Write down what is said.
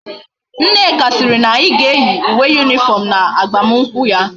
Nneka siri na anyi ga eyi uwe uniform na agbam nkwu ya